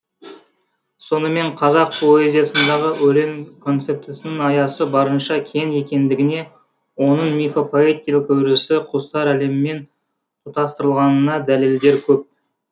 сонымен қазақ позиясындағы өлең концептісінің аясы барынша кең екендігіне оның мифопоэтикалық өрісі құстар әлемімен тұтастырылғанына дәлелдер көп